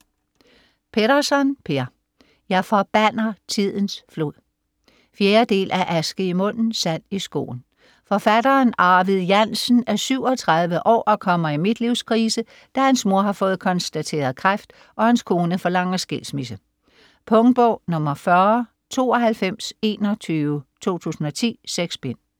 Petterson, Per: Jeg forbander tidens flod 4. del af Aske i munden, sand i skoen. Forfatteren Arvid Jansen er 37 år og kommer i midtlivskrise, da hans mor har fået konstateret kræft og hans kone forlanger skilsmisse. Punktbog 409221 2010. 6 bind.